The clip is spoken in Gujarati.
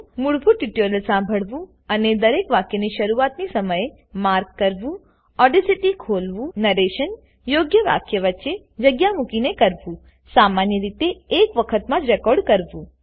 મૂળભૂત ટ્યુટોરીયલ સાંભળવું અને દરેક વાક્ય ની શરૂઆતી સમયને માર્ક કરવુંઓડેસીટી ખોલવુંનરેશન યોગ્ય વાક્ય વચ્ચે જગ્યા મુકીને કરવુંસામાન્ય રીતે એક વખત માં જ રેકોર્ડ કરવું